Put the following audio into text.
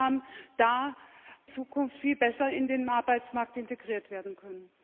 ist, dort in Zukunft viel besser in den Arbeitsmarkt integriert werden können.